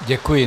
Děkuji.